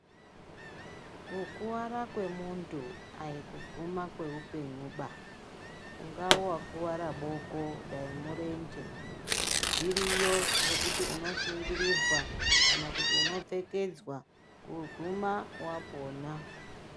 Kukuvara kwemuntu aikuguma kweupenyuba, ungave wakuvara boko, dayi murenje. Zviriyo zvokuti unosungirirwa kana kuti unopfekedzwa kugouma wapona.